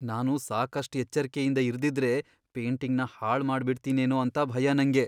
ನಾನು ಸಾಕಷ್ಟ್ ಎಚ್ಚರ್ಕೆಯಿಂದ ಇರ್ದಿದ್ರೆ ಪೇಂಟಿಂಗ್ನ ಹಾಳ್ ಮಾಡ್ಬಿಡ್ತಿನೇನೋ ಅಂತ ಭಯ ನಂಗೆ.